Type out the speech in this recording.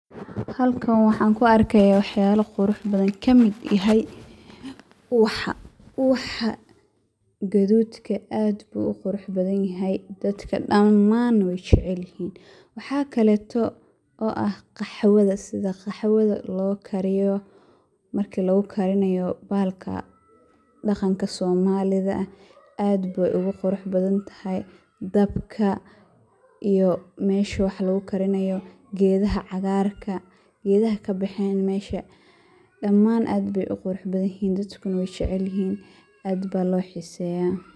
Halkan waxan ku arkaya wax yala qurux badan, kamid yahay, ubaxa gaduudka aad bu u qurax badan yahay ,dadka dhamaan way jecel yihiin, waxakaleto oo ah qaxwada sida qoxwada loo kariyo marka loo karinayo bahalka dhaqanka soomaalida ah aad bay ogu qurux badan tahay dabka iyo meshuu wax lugu karinayo, gedaha caagarka, gedaha kabexeen mesha, dhamaan aad bay uqurux badan yihiin dadkuna way jecel yihiin, aad ba loo xiiseya